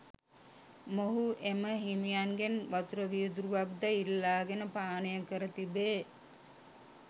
මොහු එම හිමියන්ගෙන් වතුර වීදුරුවක්‌ද ඉල්ලාගෙන පානය කර තිබේ.